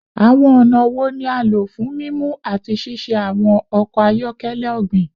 Awọn ọna wo ni a lo fun mimu ati ṣiṣe awọn ọkọ ayọkẹlẹ ogbin?